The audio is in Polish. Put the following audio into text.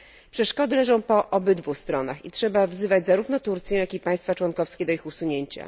Przeszkody leżą po obydwu stronach i trzeba wzywać zarówno Turcję, jak i państwa członkowskie do ich usunięcia.